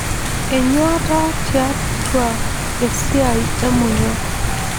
Enyuata tiatua esiai emonyua.